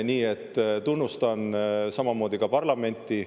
Nii et tunnustan samamoodi parlamenti.